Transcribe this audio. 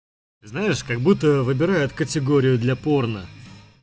знаешь как будто выбирают категорию для порно